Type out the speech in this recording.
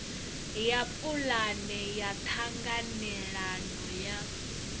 ya pulane ya ṱhanganelano ya